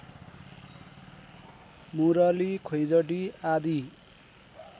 मुरली खैँजडी आदि